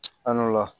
An n'o la